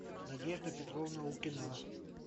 надежда петровна лукина